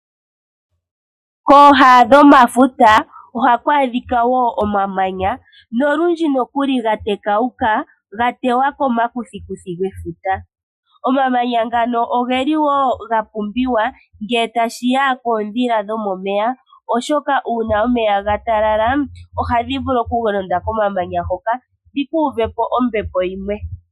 Kooha dhomafuta ohaku adhika wo omamanya nolundji nokuli ga tekauka ga tewa komakuthikuthi gefuta. Omamanya ngano ogeli wo ga pumbiwa ngele tashi ya koondhila dhomomeya oshoka uuna omeya ga talala ohadhi vulu okulonda komamanya hoka dhi ku uve po ombepo yimwe.